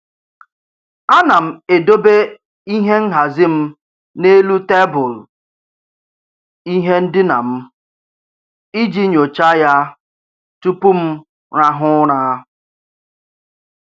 A na m edobe ihe nhazị m n'elu tebụl ihe ndịna m iji nyocha ya tụpụ m rahụ ụra.